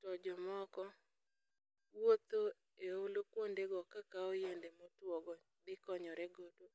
to jomoko wuotho e ohulu kwondego kakawo yiende motuwogo to gikonyore godo.